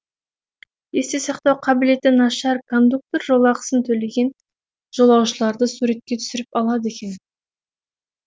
есте сақтау қабілеті нашар кондуктор жолақысын төлеген жолаушыларды суретке түсіріп алады екен